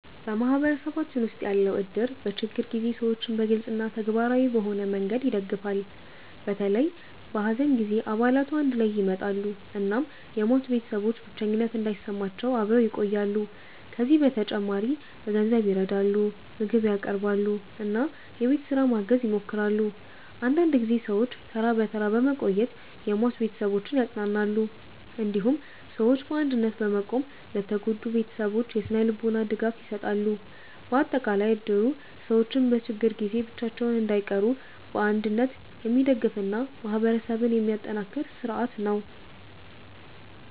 በማህበረሰባችን ውስጥ ያለው እድር በችግር ጊዜ ሰዎችን በግልጽ እና ተግባራዊ በሆነ መንገድ ይደግፋል። በተለይ በሐዘን ጊዜ አባላቱ አንድ ላይ ይመጣሉ እናም የሟች ቤተሰቦች ብቸኝነት እንዳይሰማቸው አብረው ይቆያሉ። ከዚህ በተጨማሪ በገንዘብ ይረዳሉ፣ ምግብ ያቀርባሉ እና የቤት ስራ ማገዝ ይሞክራሉ። አንዳንድ ጊዜ ሰዎች ተራ ተራ በመቆየት የሟች ቤተሰቦችን ያጽናናሉ። እንዲሁም ሰዎች በአንድነት በመቆም ለተጎዱ ቤተሰቦች የስነ-ልቦና ድጋፍ ይሰጣሉ። በአጠቃላይ እድሩ ሰዎች በችግር ጊዜ ብቻቸውን እንዳይቀሩ በአንድነት የሚደግፍ እና ማህበረሰብን የሚያጠናክር ስርዓት ነው።